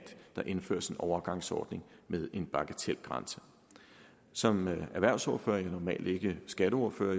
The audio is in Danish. der indføres en overgangsordning med en bagatelgrænse som erhvervsordfører jo normalt ikke skatteordfører